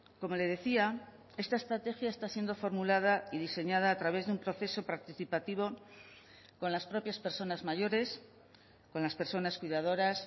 como le decía esta estrategia está siendo formulada y diseñada a través de un proceso participativo con las propias personas mayores con las personas cuidadoras